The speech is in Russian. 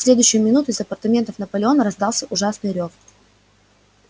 в следующую минуту из апартаментов наполеона раздался ужасный рёв